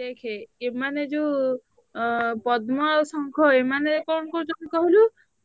ଦେଖେ ଏମାନେ ଯୋଉ ଅ ପଦ୍ମ ଆଉ ଶଙ୍ଖ ଏମାନେ କଣ କରୁଛନ୍ତି କହିଲୁ